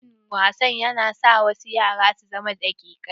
Rashin wasa na sa wasu yara su zama daƙikai.